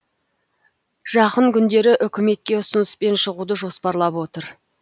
жақын күндері үкіметке ұсыныспен шығуды жоспарлап отыр